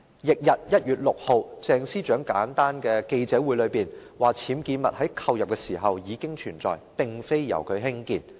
翌日，即1月6日，鄭司長召開簡單記者會，表示僭建物在購入時已存在，並非由她興建。